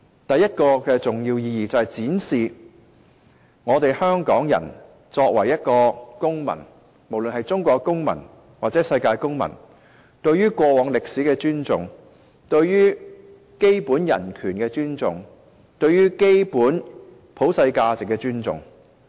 第一個重要意義在於展示我們香港人作為公民——無論是中國公民或世界公民——對於過往歷史的尊重，對於基本人權的尊重，對於基本普世價值的尊重。